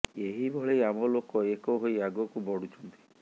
ଏହି ଭଳି ଆମ ଲୋକ ଏକ ହୋଇ ଆଗକୁ ବଢୁଛନ୍ତି